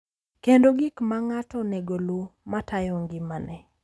Kendo gik ma ng’ato onego oluw ma tayo ngimane.